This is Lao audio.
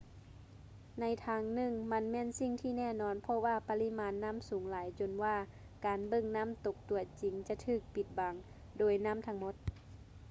ໃນທາງໜຶ່ງ ມັນແມ່ນສິ່ງທີ່ແນ່ນອນເພາະວ່າປະລິມານນໍ້າສູງຫຼາຍຈົນວ່າການເບິ່ງນ້ຳຕົກຕົວຈິງຈະຖືກປິດບັງ ໂດຍນ້ຳທັງໝົດ